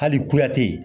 Hali kuyate